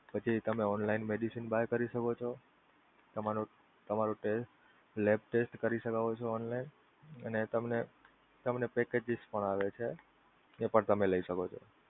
પછી તમે online medicine buy કરી શકો છો, તમારો test lab test કરી શકો છો online અને તમને તમને Packages પણ આવે છે, તે પણ તમે લઇ શકો છો.